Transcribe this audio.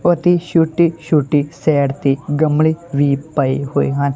ਓਥੇ ਛੋਟੇ_ਛੋਟੇ ਸਾਈਡ ਤੇ ਗਮਲੇ ਵੀ ਪਏ ਹੋਏ ਹਨ।